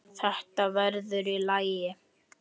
Þetta verður í lagi.